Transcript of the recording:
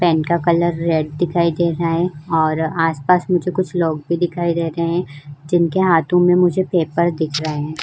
Pen का colour red दिखाई दे रहा है और आस-पास मुझे कुछ लोग भी दिखाई दे रहे हैं। जिनके हाथों में मुझे पेपर दिख रहा है।